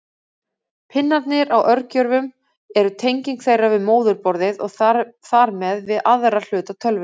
Pinnarnir á örgjörvum eru tenging þeirra við móðurborðið og þar með við aðra hluta tölvunnar.